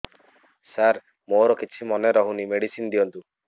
ସାର ମୋର କିଛି ମନେ ରହୁନି ମେଡିସିନ ଦିଅନ୍ତୁ